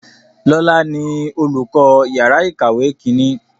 Lọ́la ni olùkọ́ yàrá ìkàwé Kínní